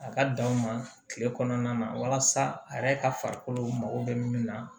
A ka dan u ma kile kɔnɔna na walasa a yɛrɛ ka farikolo mako bɛ min na